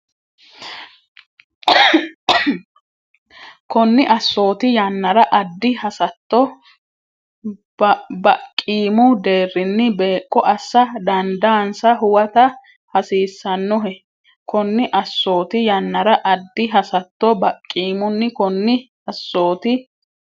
Konni assooti yannara addi hasatto baqqiimu deerrinni beeqqo assa dandaansa huwata hasiissannohe Konni assooti yannara addi hasatto baqqiimu Konni assooti.